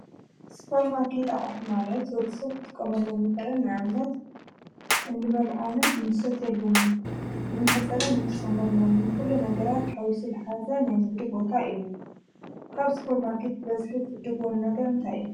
ስፖር ማርከት ኣቕሑት ማለት ወድ ሰብ ኽጥቀመሎም ዝክእል ንኣብነት እንበልዖምን፣ እንሰትየሉምን፣ ንመሕጸቢን እንጥቀመሎምን ዂሉ ነገራት ኃዊሱ ዝሓዘን ናይ ንግዲ ቦታ እዩ። ካብ ስፖር ማርኬት ብበዝሒ ትዕድጉዎም ነገር እንታይ እዩ?